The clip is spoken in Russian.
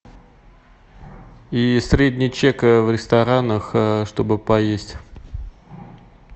и средний чек в ресторанах чтобы поесть